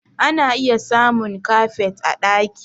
Ana iya samun kafet a ɗaki